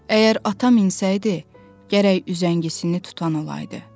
Əgər atam insəydi, gərək üzəngisini tutan olaydı.